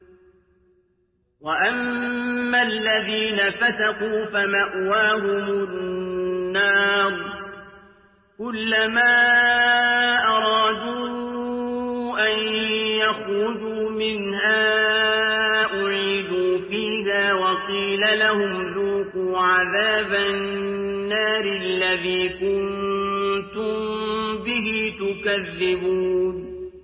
وَأَمَّا الَّذِينَ فَسَقُوا فَمَأْوَاهُمُ النَّارُ ۖ كُلَّمَا أَرَادُوا أَن يَخْرُجُوا مِنْهَا أُعِيدُوا فِيهَا وَقِيلَ لَهُمْ ذُوقُوا عَذَابَ النَّارِ الَّذِي كُنتُم بِهِ تُكَذِّبُونَ